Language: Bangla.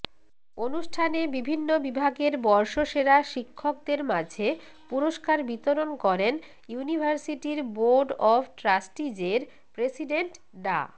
অনুষ্ঠানে বিভিন্ন বিভাগের বর্ষসেরা শিক্ষকদের মাঝে পুরস্কার বিতরণ করেন ইউনিভার্সিটির বোর্ড অব ট্রাস্টিজের প্রেসিডেন্ট ডা